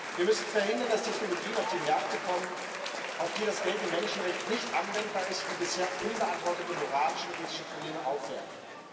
Wir müssen verhindern, dass Technologien auf die Märkte kommen, auf die das geltende Menschenrecht nicht anwendbar ist und die bisher unbeantwortete moralische und ethische Probleme aufwerfen.